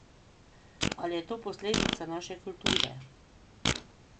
Ali je to posledica naše kulture?